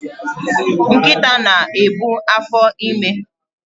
Nkita na-ebu afọime